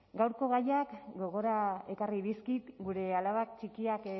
gaurko gaiak gogora ekarri dizkit gure alabak txikiak